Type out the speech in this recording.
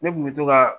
Ne kun bɛ to ka